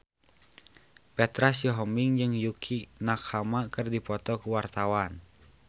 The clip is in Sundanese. Petra Sihombing jeung Yukie Nakama keur dipoto ku wartawan